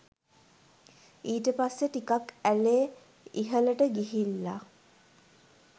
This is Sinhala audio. ඊට පස්සෙ ටිකක් ඇලේ ඉහලට ගිහිල්ල